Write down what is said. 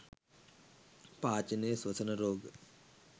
පාචනය ස්වසන රෝග